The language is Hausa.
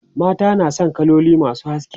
mata na San kaloli masu haske